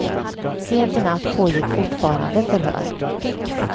Sent i natt pågick fortfarande förhör.